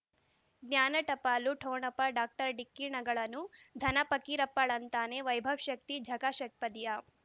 ಜ್ಞಾನ ಟಪಾಲು ಠೊಣಪ ಡಾಕ್ಟರ್ ಢಿಕ್ಕಿ ಣಗಳನು ಧನ ಪಕೀರಪ್ಪ ಳಂತಾನೆ ವೈಭವ್ ಶಕ್ತಿ ಝಗಾ ಷಟ್ಪದಿಯ